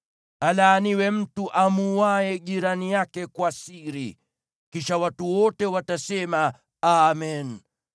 “Alaaniwe mtu amuuaye jirani yake kwa siri.” Kisha watu wote watasema, “Amen!”